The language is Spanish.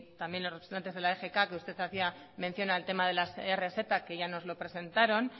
también los representantes de la egk que usted hacía mención al tema de las rz que ya nos lo presentaron